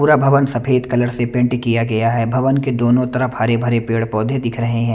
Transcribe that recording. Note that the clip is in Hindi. पूरा भवन सफेद कलर से पेंट किया गया है भवन के दोनों तरफ हरे भरे पेड़ पौधे दिख रहे हैं।